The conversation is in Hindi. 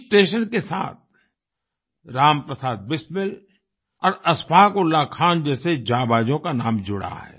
इस स्टेशन के साथ राम प्रसाद बिस्मिल और अशफाक उल्लाह खान जैसे जांबांजों का नाम जुड़ा है